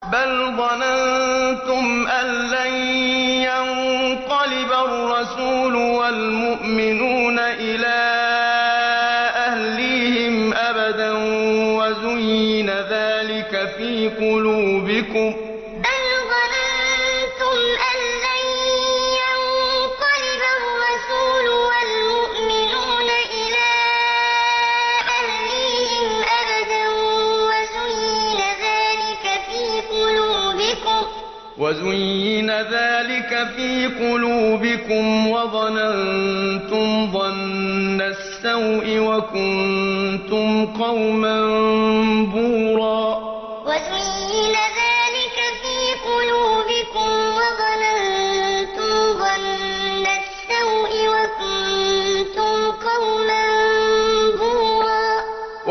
بَلْ ظَنَنتُمْ أَن لَّن يَنقَلِبَ الرَّسُولُ وَالْمُؤْمِنُونَ إِلَىٰ أَهْلِيهِمْ أَبَدًا وَزُيِّنَ ذَٰلِكَ فِي قُلُوبِكُمْ وَظَنَنتُمْ ظَنَّ السَّوْءِ وَكُنتُمْ قَوْمًا بُورًا بَلْ ظَنَنتُمْ أَن لَّن يَنقَلِبَ الرَّسُولُ وَالْمُؤْمِنُونَ إِلَىٰ أَهْلِيهِمْ أَبَدًا وَزُيِّنَ ذَٰلِكَ فِي قُلُوبِكُمْ وَظَنَنتُمْ ظَنَّ السَّوْءِ وَكُنتُمْ قَوْمًا بُورًا